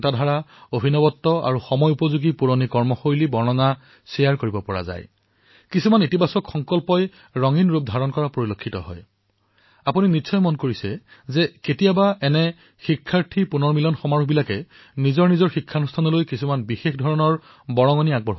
প্ৰাক্তন ছাত্ৰছাত্ৰীসকলৰ সন্মিলন দৰাচলতে পুৰণি বন্ধুসকলৰ সৈতে সাক্ষাৎ কৰা পুৰণি স্মৃতি সজীৱ কৰি তোলা এইসমূহ আনন্দৰ উপৰিও যেতিয়া ইয়াৰ সৈতে বিনিময় উদ্দেশ্যও সমাহিত হয় কোনো সংকল্প অথবা ধনাত্মক চিন্তা সমাহিত হয় তেতিয়া ইয়াৰ ৰং দুগুণে বৃদ্ধি হয়